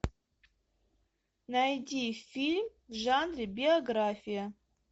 найди фильм в жанре биография